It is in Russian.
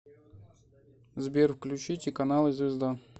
сбер включите каналы звезда